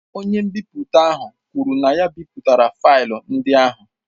Onye nbipute ahụ kwuru na ya ebipụtala flaya ndị ahụ.